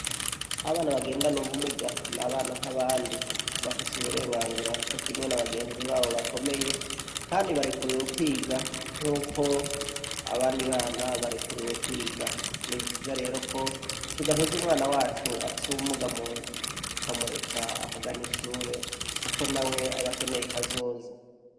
Abana bagendana ubumuga, ni abana nk'abandi bafise uburenganzira cokimwe n'abagenzi babo bakomeye, kandi barekuriwe kwiga nk'uko abandi bana barekuriwe kwiga nivyiza rero ko tudaheze umwana wacu afise ubumuga mu nzu tukamureka akaganishure, kuko na we abakeneye kazoza.